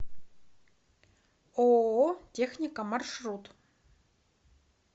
ооо техника маршрут